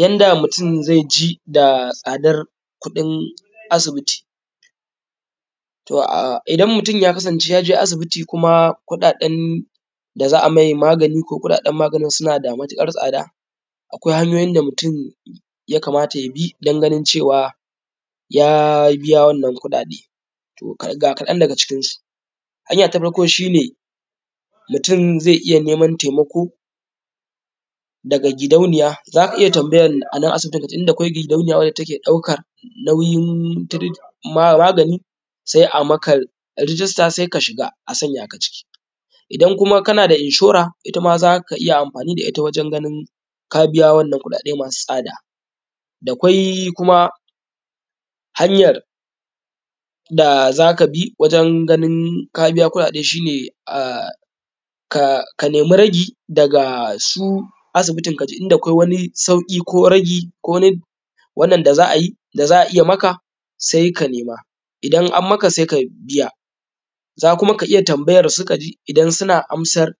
yanda mutum zaI ji da tsadar kuɗin asibiti to idan mutum ya je asibiti kuma kuɗaɗen da za a mai magani ko kuɗaɗen maganin suna da matuƙar tsada akwai hanyoyin da mutum ya kamata ya bi don ganin cewa ya biya wannan kuɗaɗe to ga kaɗan daga cikinsu hanya ta farko shi ne mutum zai iya neman taimako daga gidauniya za ka iya tambayan a nan asibitin ka ji in akwai gidauniya da take ɗaukar nauyin magani sai a maka rijista sai ka shiga a sanya ka ciki idan kuma kana da inshora ita ma za ka iya amfani da ita wajen ganin ka biya wannan kuɗaɗe masu tsada dakwai kuma hanyar da za ka bi wajen ganin ka bija kuɗaɗe shi ne: ka nemi ragi daga su asibitin ka ji in dakwai wani sauƙi ko ragi ko na wannan da za a yi da za a iya maka sai ka nema xxx idan an maka sai ka biya za kuma ka iya tambayarsu ka ji idan suna amsar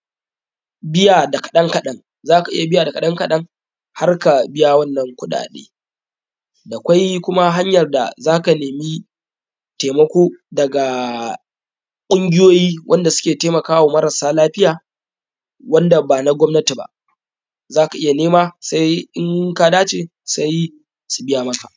biya da kaɗan kaɗan za ka iya biya da kaɗan kaɗan har ka biya wannan kuɗaɗe dakwai kuma hanyar da za ka nemi taimako daga ƙungiyoyi wanda suke taimaka wa marasa lafiya wanda ba na gwamnati ba za a iya nema sai in ka dace sai su biya maka